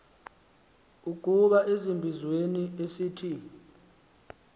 ukuza ezimbizweni esithi